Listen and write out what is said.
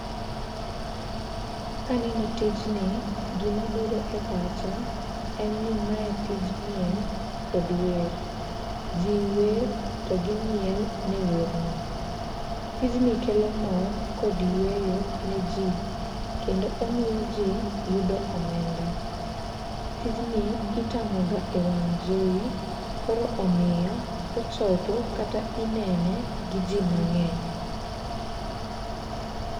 Kaneno tijni, gimabiro epacha en ni mae tij miel kod wer, jiwer togimiel ne werno. Tijni kelo mor kod yweyo neji, kendo omiyo ji yudo omenda. Tijni itang'oga ewang' jowi koro omiyo ochopo kata inene giji mangeny.